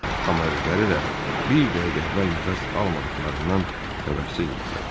Amma özləri də bir dəqiqə əvvəl nəfəs almadıqlarından xəbərsiz idilər.